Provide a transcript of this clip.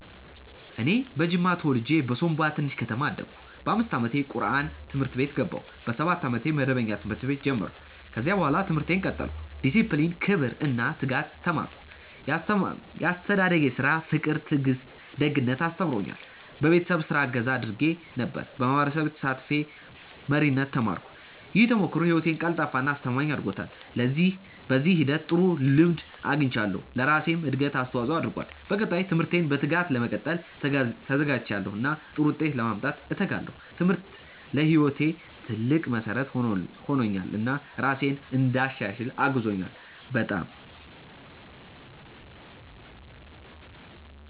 እኔ በጅማ ተወልጄ በሶምቦ ትንሽ ከተማ አደግሁ። በ5 ዓመቴ ቁርአን ትምህርት ቤት ገባሁ። በ7 ዓመቴ መደበኛ ትምህርት ቤት ጀመርሁ። ከዚያ በኋላ ትምህርቴን ቀጠልሁ። ዲሲፕሊን፣ ክብር እና ትጋት ተማርሁ። ያስተዳደጌ ስራ ፍቅር ትዕግስት ደግነት አስተምሮኛል። በቤተሰብ ስራ እገዛ አድርጌ ነበር። በማህበረሰብ ተሳትፌ መሪነት ተማርሁ። ይህ ተሞክሮ ህይወቴን ቀልጣፋ እና አስተማማኝ አድርጎታል። በዚህ ሂደት ጥሩ ልምድ አግኝቻለሁ፣ ለራሴም እድገት አስተዋፅኦ አድርጓል። በቀጣይ ትምህርቴን በትጋት ለመቀጠል ተዘጋጅቻለሁ እና ጥሩ ውጤት ለማምጣት እተጋለሁ። ትምህርቴ ለህይወቴ ትልቅ መሠረት ሆኖልኛል እና ራሴን እንድሻሽል አግዞኛል። በጣም። እንደ ነው።